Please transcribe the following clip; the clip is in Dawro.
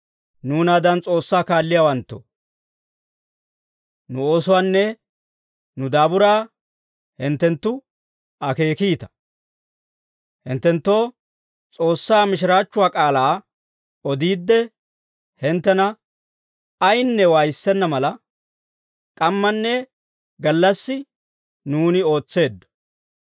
Nuunaadan S'oossaa kaalliyaawanttoo, nu oosuwaanne nu daaburaa hinttenttu akeekiita; hinttenttoo S'oossaa mishiraachchuwaa k'aalaa odiidde, hinttena ayinne waayissenna mala, k'ammanne gallassi nuuni ootseeddo.